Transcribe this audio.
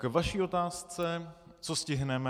K vaší otázce - co stihneme?